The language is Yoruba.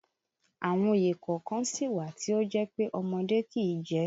Àwọn òye kọ̀ọ̀kan sì wà tí ó jẹ́ pé ọmọdé kìí jẹ